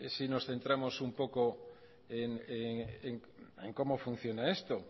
si nos centramos un poco en cómo funciona esto